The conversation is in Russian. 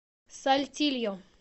сальтильо